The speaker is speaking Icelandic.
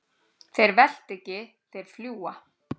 Þeir velta ekki, þeir fljúga.